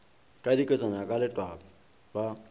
ka diketswana ka lewatle ba